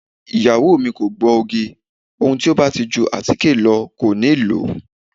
Ìyàwó mi kò gbọ́ oge, ohun tí ó bá ti ju àtíkè lọ kò níi lòó.